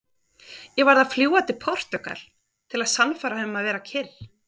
Ég varð að fljúga til Portúgal til að sannfæra hann um að vera kyrr.